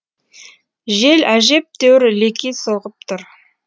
жел әжептәуір леки соғып тұр